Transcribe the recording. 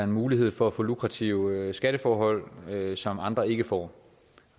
mulighed for at få lukrative skatteforhold som andre ikke får